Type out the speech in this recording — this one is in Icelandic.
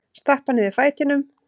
Stappa niður fætinum.